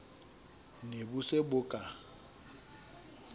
ne bo se bo ka